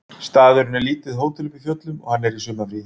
Staðurinn er lítið hótel uppi í fjöllum og hann er í sumarfríi